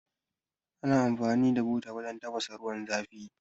Ana amfani da buta wajan tafasa ruwan zafi